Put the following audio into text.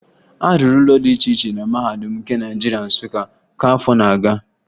A rụrụ ụlọ dị iche na Mahadum nke Naịjirịa, Nsụka, ka afọ nọ na-aga